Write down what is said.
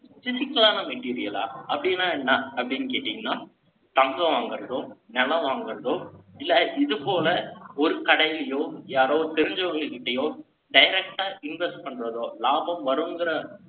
Physical ஆன material ஆ? அப்படின்னா என்ன? அப்படின்னு கேட்டீங்கன்னா, தங்கம் வாங்குறதும், நிலம் வாங்குறதும், இல்லை, இது போல, ஒரு கடையிலயோ, யாரோ தெரிஞ்சவங்ககிட்டயோ, direct ஆ invest பண்றதோ, லாபம் வருங்கிற